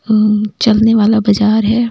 चलने वाला बाजार है।